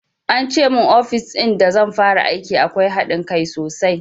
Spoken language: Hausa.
Ance mun ofis in da zan fara aiki akwai haɗin kai sosai